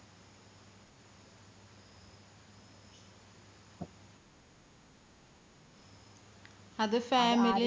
അത് family